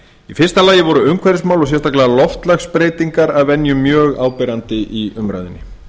í fyrsta lagi voru umhverfismál og sérstaklega loftslagsbreytingar að venju mjög áberandi í umræðunni